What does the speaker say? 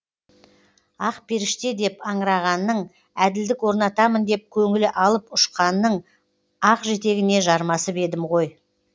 ақперіште деп аңырағанның әділдік орнатамын деп көңілі алып ұшқанның ақ жетегіне жармасып едім ғой